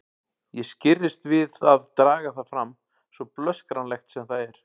Ég skirrist við að draga það fram, svo blöskranlegt sem það er.